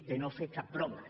de no fer cap broma